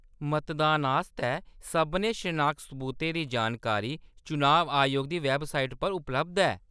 मतदान आस्तै सभनें शनाखत सबूतें दी जानकारी चुनाव आयोग दी वैबसाइट पर उपलब्ध ऐ।